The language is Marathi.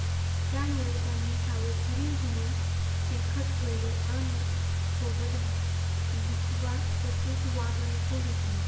त्यामुळे त्यांनी सावधगिरी म्हणून चिलखत ठेवले आणि सोबत बिचवा तसेच वाघनखे घेतली.